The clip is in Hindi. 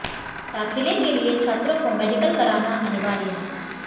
दाखिले के लिए छात्रों को मेडिकल कराना अनिवार्य है